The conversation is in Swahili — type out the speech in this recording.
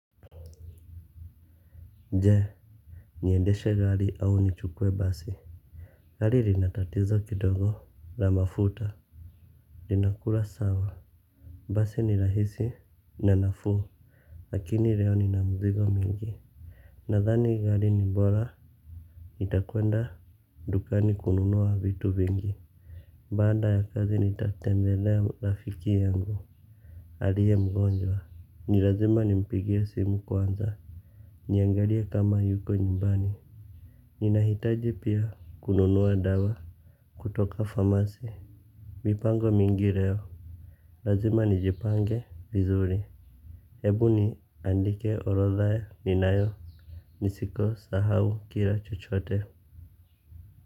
Nje niendeshe gali au nichukwe basi gali linatatizo kidogo na mafuta linakula sawa basi ni rahisi na nafu lakini reo ni na muzigo mingi nadhani gali ni mbola nitakuenda dukani kununua vitu vingi banda ya kazi nitatembelea rafiki yangu alie mgonjwa nilazima ni mpigie simu kwanza niangalie kama yuko nyumbani. Ninahitaji pia kununuwa dawa kutoka famasi. Mipango mingi reo. Lazima nijipange vizuri. Ebu niandike orotha ya ninayo nisiko sahau kila chochote.